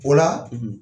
O la